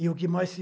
E o que mais se...